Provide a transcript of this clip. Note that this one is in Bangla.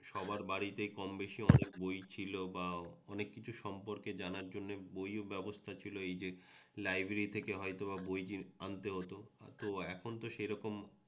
সবার বাড়িতে কমবেশি অনেক বই ছিল বা অনেক কিছু সম্পর্কে জানার জন্যে বইয়ের ব্যবস্থা ছিল এই যে লাইব্রেরি থেকে হয়তোবা বই আনতে হত তো এখন তো সেরকম